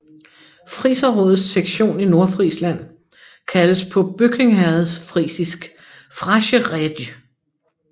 Friserrådets sektion i Nordfrisland kaldes på bøkingherredfrisisk Frasche Rädj